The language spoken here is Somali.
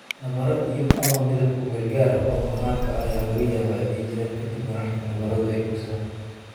Nabarro iyo/ama midab ku-meel-gaar ah oo maqaarka ah ayaa laga yaabaa inay jiraan ka dib marka nabaradu ay bogsadaan.